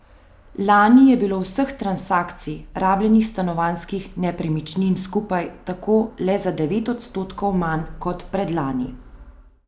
Lani je bilo vseh transakcij rabljenih stanovanjskih nepremičnin skupaj tako le za devet odstotkov manj kot predlani.